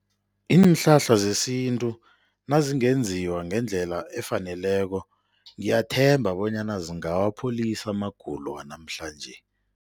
Iinhlahla zesintu nazingenziwa ngendlela efaneleko ngiyathemba bonyana zingawapholisa amagulo wanamhlanje.